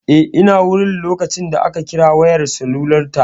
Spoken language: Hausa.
Eh ina wurin a lokacin da ka kira wayar salular ta